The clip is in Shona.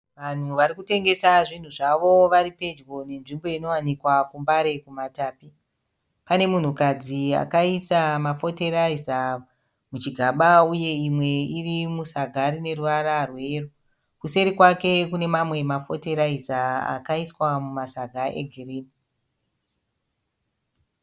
Vanhu vari kutengesa zvinhu zvavo vari pedyo nenzvimbo inowanikwa kuMbare kumaMatapi. Pane munhukadzi akaisa mafoteraiza muchigaba uye imwe iri musaga rine ruvara rweyero. Kuseri kwake kune mamwe mafoteraiza akaiswa mumasaga egirini.